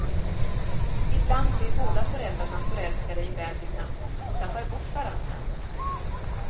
Ibland blir båda föräldrarna förälskade i bäbisen och tappar bort varandra.